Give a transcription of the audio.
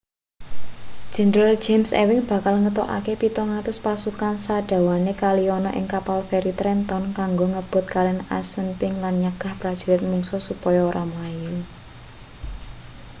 jenderal james ewing bakal ngetokake 700 pasukan sadawane kali ana ing kapal feri trenton kanggo ngrebut kalen assunpink lan nyegah prajurit mungsuh supaya ora mlayu